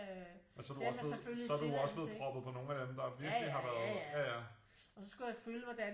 Men så er du også blevet så er du jo også blevet proppet på nogle af dem der virkelig har været